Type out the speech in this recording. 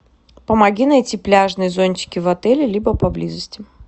помоги найти пляжные зонтики в отеле либо поблизости